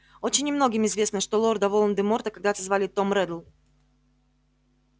очень немногим известно что лорда волан-де-морта когда-то звали том реддл